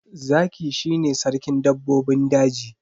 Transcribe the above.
Zaki shi ne sarkin dabbobin daji.